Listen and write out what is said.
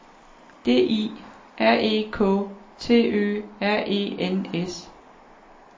D I R E K T Ø R E N S